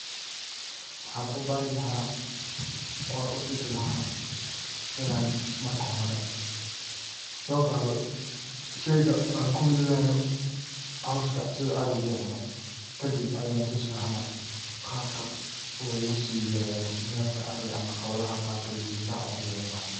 Waxaan u bari laha oona u tusi laha inan marka hore sooqado shayga aan ku ridayo cawska sida ariga uu cuno kadib ayan tusi laha qabka loogu sii yareeyo neefka ariga ama xoolaha qaar ay geesaha ogu cunayaan.